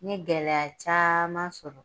N ye gɛlɛya caman sɔrɔ